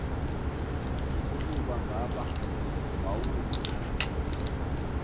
ukuba ngaba wawuza